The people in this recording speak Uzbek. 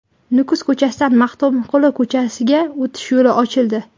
Nukus ko‘chasidan Maxtumquli ko‘chasiga o‘tish yo‘li ochildi.